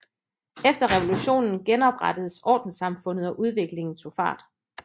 Efter revolutionen genoprettedes ordenssamfundet og udviklingen tog fart